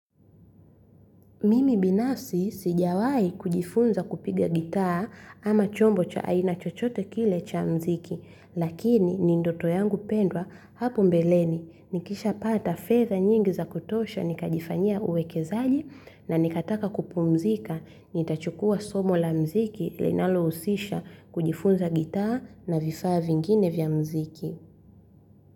Mimi binafsi sijawahi jifunza kupiga gitaa ama chombo cha aina chochote kile cha mziki lakini ni ndoto yangu pendwa hapo mbeleni. Nikisha pata fedha nyingi za kutosha nikajifanyia uwekezaji na nikataka kupumzika nitachukua somo la mziki linalohusisha kujifunza gitaa na vifaa vingine vya mziki.